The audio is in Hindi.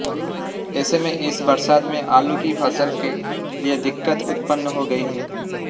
ऐसे में इस बरसात से आलू की फसल के लिए दिक्कत उत्पन्न हो गई है